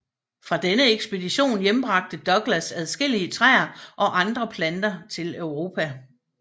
Fra denne ekspedition hjembragte Douglas adskillige træer og andre planter til Europa